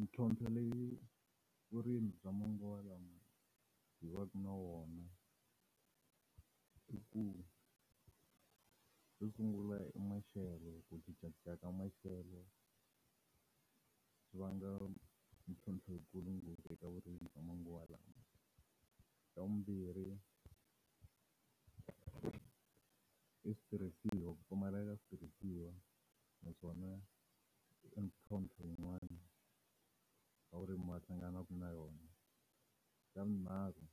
Ntlhontlho leyi vurimi bya manguva lawa hi wa ku na wona, i ku xo sungula i maxelo ku cincacinca ka maxelo. Swi vangela mintlhontlho yikulu ngopfu eka vurimi bya manguva lawa. Xa vumbirhi, i switirhisiwa. Ku pfumaleka switirhisiwa naswona swi na ntlhontlho yin'wana n'wavurimi a hlanganaka na yona. Xa vunharhu